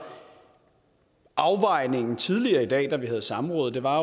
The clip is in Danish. afvejningen tidligere i dag da vi havde samrådet var